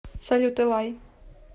салют элай